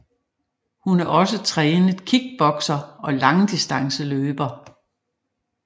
Hun er også en trænet kickbokser og langdistanceløber